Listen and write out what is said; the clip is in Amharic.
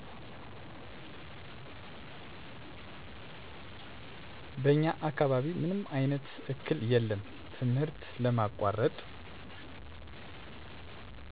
በኛ አካባቢ ምንም አይነት እክል የለም ትምህርት ለማቆረጥ